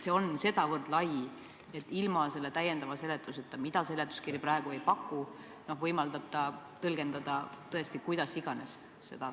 See on nii lai mõiste, et ilma täiendava seletuseta, mida seletuskiri praegu ei paku, saab seda punkti tõesti tõlgendada kuidas iganes.